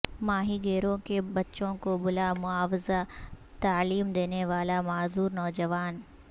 ماہی گیروں کے بچوں کو بلا معاوضہ تعلیم دینے والا معذور نوجوان